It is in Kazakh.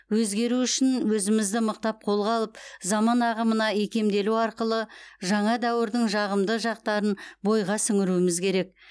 өзгеру үшін өзімізді мықтап қолға алып заман ағымына икемделу арқылы жаңа дәуірдің жағымды жақтарын бойға сіңіруіміз керек